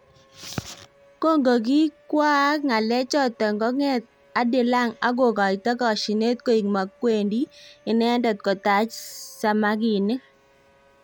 Kongokikakwaak ngalek chotok konget adilang akokoito kashinet koek makwendi inendet kotach samakinik.